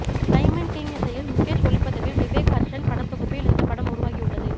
Simon King இசையில் முகேஷ் ஒளிப்பதிவில் விவேக் ஹர்ஷன் படத்தொகுப்பில் இந்த படம் உருவாகியுள்ளது